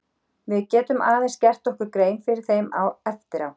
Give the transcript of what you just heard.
Við getum aðeins gert okkur grein fyrir þeim eftir á.